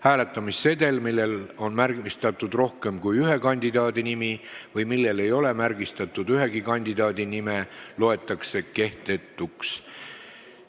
Hääletamissedel, millel on märgistatud rohkem kui ühe kandidaadi nimi või millel ei ole märgistatud ühegi kandidaadi nime, loetakse kehtetuks.